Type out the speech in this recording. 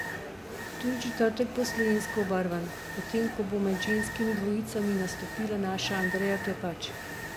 Tudi četrtek bo slovensko obarvan, potem ko bo med ženskimi dvojicami nastopila naša Andreja Klepač.